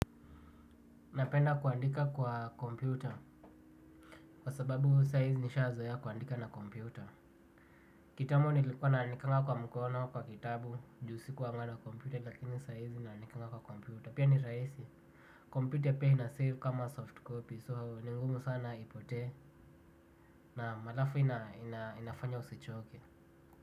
Napenda kuandika kwa kompyuta kwa sababu sai nimeshazoea kuandika na kompyuta. Kitambo nilikuwa naandikanga kwa mkono kwa kitabu. Juu sikuanga na computer lakini sai naandikanga kwa computer. Pia ni rahisi Computer pia inasave kama soft copy so ningumu sana ipotee. Naam, halafu inafanya usichoke.